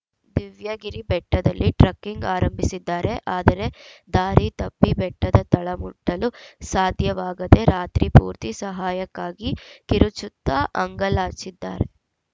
ದಿವ್ಯಗಿರಿ ಬೆಟ್ಟದಲ್ಲಿ ಟ್ರಕ್ಕಿಂಗ್‌ ಆರಂಭಿಸಿದ್ದಾರೆ ಆದರೆ ದಾರಿ ತಪ್ಪಿ ಬೆಟ್ಟದ ತಳ ಮುಟ್ಟಲು ಸಾಧ್ಯವಾಗದೇ ರಾತ್ರಿ ಪೂರ್ತಿ ಸಹಾಯಕ್ಕಾಗಿ ಕಿರುಚುತ್ತಾ ಅಂಗಲಾಚಿದ್ದಾರೆ